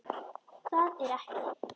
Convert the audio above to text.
Það er ekki.